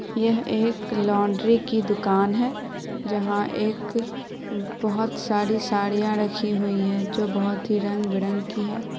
यह एक लाउंड्री की दुकान है जहां एक बहोत सारी साड़ियां रखी हुई है जो कि बहोत ही रंग बिरंग की है।